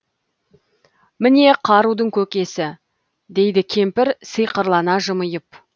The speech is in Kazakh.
міне қарудың көкесі дейді кемпір сиқырлана жымиып